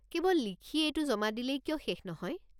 কেৱল লিখি এইটো জমা দিলেই কিয় শেষ নহয়?